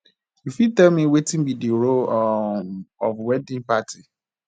you fit tell me wetin be di role um of wedding party